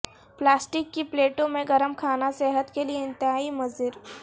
plastic کی پلیٹوں میں گرم کھاناصحت کیلئے انتہائی مضر